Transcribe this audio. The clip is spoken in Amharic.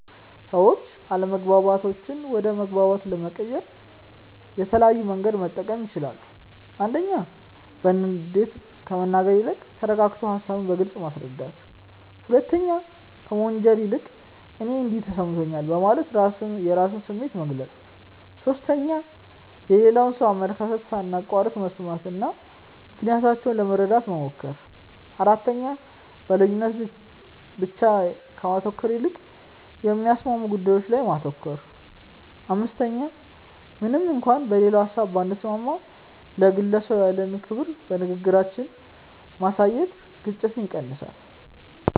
ሰዎች አለመግባባቶችን ወደ መግባባት ለመቀየር የተለያየ መንገድ መጠቀም ይችላሉ፦ 1. በንዴት ከመናገር ይልቅ ተረጋግቶ ሃሳብን በግልጽ ማስረዳት። 2. ከመወንጀል ይልቅ "እኔ እንዲህ ተሰምቶኛል" በማለት የራስን ስሜት መግለጽ። 3. የሌላውን ሰው አመለካከት ሳናቋርጥ መስማትና ምክንያታቸውን ለመረዳት መሞከር። 4. በልዩነት ላይ ብቻ ከማተኮር ይልቅ የሚያስማሙ ጉዳዮች ላይ ማተኮር። 5. ምንም እንኳን በሌላው ሀሳብ ባንስማማም፣ ለግለሰቡ ያለንን ክብር በንግግራችን ማሳየት ግጭትን ይቀንሳል።